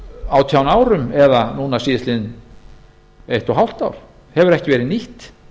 átján árum eða núna síðastliðið eitt og hálft ár hefur ekki verið nýtt